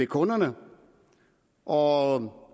kunderne og